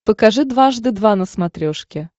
покажи дважды два на смотрешке